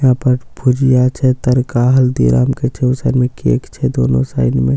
यहाँ पर भुजिया छे तनका हल्दी रंग के छे उ सब मे केक छे दोनो साइड मे--